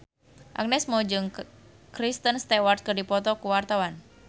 Agnes Mo jeung Kristen Stewart keur dipoto ku wartawan